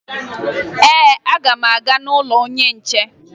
Ee, aga m aga n'ụlọ onye nche